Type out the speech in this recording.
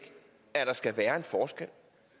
at der skal være en forskel